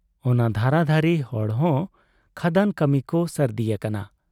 ᱚᱱᱟ ᱫᱷᱟᱨᱟ ᱫᱷᱟᱨᱤ ᱦᱚᱲᱦᱚᱸ ᱠᱷᱟᱫᱟᱱ ᱠᱟᱹᱢᱤ ᱠᱚ ᱥᱟᱹᱨᱫᱤ ᱟᱠᱟᱱᱟ ᱾